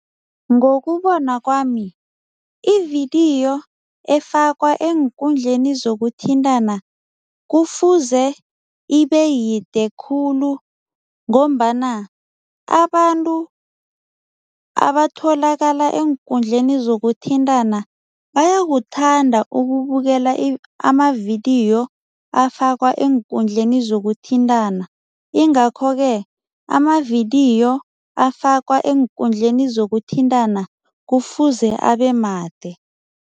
Ngokubona kwami, ividiyo efakwa eenkundleni zokuthintana kufuze ibeyide khulu ngombana abantu abatholakala eenkundleni zokuthintana bayakuthanda ukubukela amavidiyo afakwa eenkundleni zokuthintana ingakho-ke amavidiyo afakwa eenkundleni zokuthintana kufuze abemade.